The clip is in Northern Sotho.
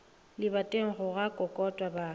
lebating go a kokotwa ba